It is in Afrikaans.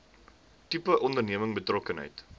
tipe onderneming betrokkenheid